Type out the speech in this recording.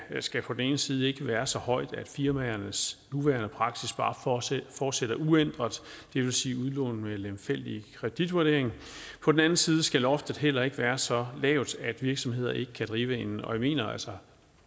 skal på den ene side ikke være så højt at firmaernes nuværende praksis bare fortsætter uændret det vil sige udlån med lemfældig kreditvurdering på den anden side skal loftet heller ikke være så lavt at virksomheder ikke kan drive en og jeg mener altså